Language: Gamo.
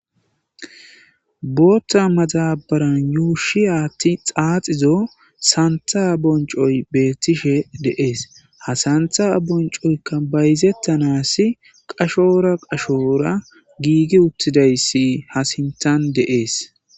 Bootha madabaran yuushi aathi xaaxizo santha boncoy betishe de'es, ha santha boncoyka bayzetanas qachora qachora giigi utidaysi ha sinthan de'es